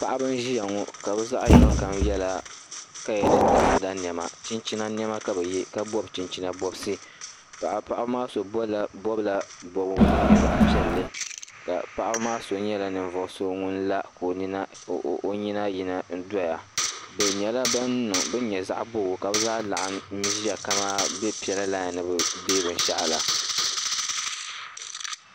Paɣiba nziya ŋɔ ka bizaɣi yinɔ kam yɛla kaya ni ta, ada nema chinchina nema ka bi yɛ, ka bɔbi chinchina bɔbsi paɣib maa so bɔbla bɔbigu din nyɛ zaɣi piɛli ka paɣibi maa so nyala ŋun la ka o nyina yina n-doya bi nyɛla bin nyɛ zaɣi bɔbigu kabi zaa laɣim nzɛya ka bi pɛla. laɣim ni bi dee bin shaɣu la